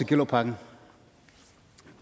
gellerupparken